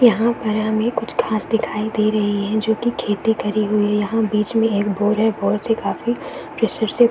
यहां पर हमें कुछ घास दिखाई दे रही है जो की खेती करी हुई है यहां बीच में एक बोर है बोर से काफी प्रेशर से --